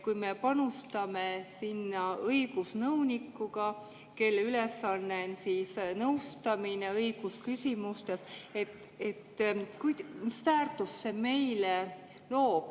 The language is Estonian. Kui me panustame sinna õigusnõunikuga, kelle ülesanne on nõustada õigusküsimustes, siis mis väärtust see meile loob?